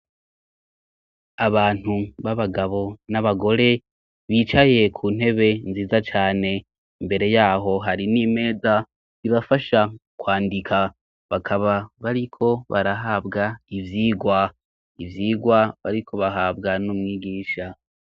Abantu b'abagabo n'abagore bicaye ku ntebe nziza cane, imbere yaho hari n'imeza ibafasha kwandika, bakaba bariko barahabwa ivyigwa. Ivyigwa bariko bahabwa n'umwigisha.